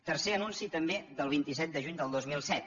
tercer anunci també del vint set de juny del dos mil set